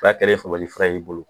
y'i bolo